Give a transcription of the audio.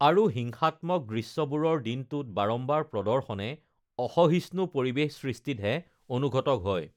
আৰু হিংসাত্মক দৃশ্যবোৰৰ দিনটোত বাৰাম্বাৰ প্ৰৰ্দশনে অসহিষ্ণু পৰিৱেশ সৃষ্টিতহে অনুঘটক হয়